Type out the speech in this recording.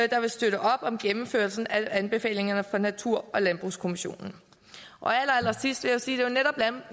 der vil støtte op om gennemførelsen af anbefalingerne fra natur og landbrugskommissionen allerallersidst vil jeg sige at det jo netop er